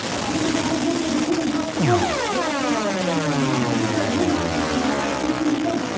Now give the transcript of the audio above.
жоқ бұл жерде негізі бүкілі жақсы ғой бірақ жамағат айналайын жамағат бұл жерде ең бастысы мынаны айтып кетейін дегенмін